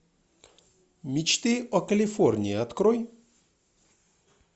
мечты о калифорнии открой